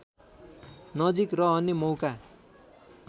नजिक रहने मौका